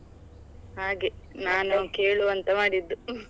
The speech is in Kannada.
ಹಾಗೆ, ಕೇಳುವಂತ ಮಾಡಿದ್ದು .